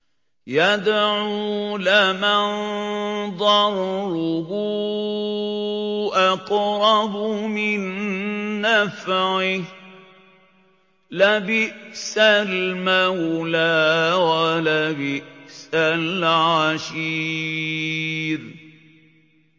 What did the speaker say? يَدْعُو لَمَن ضَرُّهُ أَقْرَبُ مِن نَّفْعِهِ ۚ لَبِئْسَ الْمَوْلَىٰ وَلَبِئْسَ الْعَشِيرُ